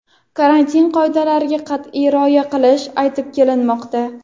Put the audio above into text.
karantin qoidalariga qat’iy rioya qilish aytib kelinmoqda.